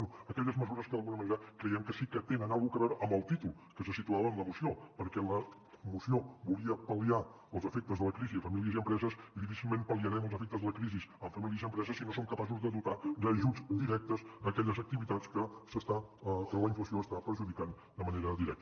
bé aquelles mesures que d’alguna manera creiem que sí que tenen alguna cosa a veure amb el títol que se situava en la moció perquè la moció volia pal·liar els efectes de la crisi a famílies i empreses i difícilment pal·liarem els efectes de la crisi en famílies i empreses si no som capaços de dotar d’ajuts directes aquelles activitats que la inflació hi està perjudicant de manera directa